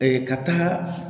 ka taaga